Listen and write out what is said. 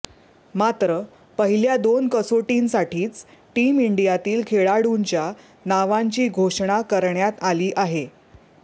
मात्र पहिल्या दोन कसोटींसाठीच टीम इंडियातील खेळाडूंच्या नावांची घोषणा करण्यात आली आहे